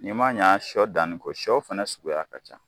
N'i ma ɲa sɔ fana danni kɔ sɔ fana sugu ka ca